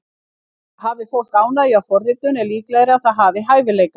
Hafi fólk ánægju af forritun er líklegra að það hafi hæfileika.